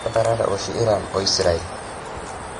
Ketarate oshi Iran o Israel?